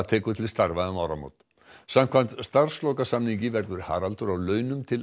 tekur til starfa um áramót samkvæmt starfslokasamningi verður Haraldur á launum til